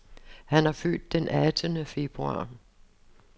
Han er født den attende februar.